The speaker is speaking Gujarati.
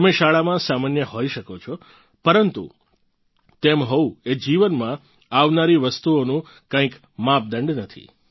તમે શાળામાં સામાન્ય હોઈ શકો છો પરંતુ તેમ હોવું એ જીવનમાં આવનારી વસ્તુઓનો કોઈ માપદંડ નથી